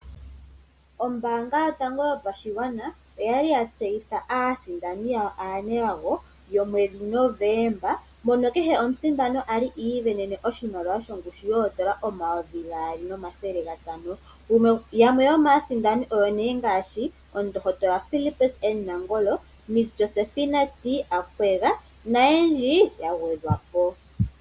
Ombaanga yotango yopashigwana oyali yatseyitha aasindani yawo aanelago yomwedhi Novemba mono kehe omusindani ali iisindanene oshimaliwa shongushu yoondola N$2,500. Yamwe yomaasindani oyo omundohotola Philipus N Nangolo, Miss Josefina T Akwega nayendji yagwedhwapo.